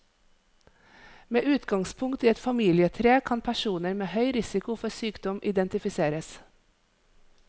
Med utgangspunkt i et familietre kan personer med høy risiko for sykdom identifiseres.